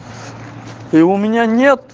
и у меня нет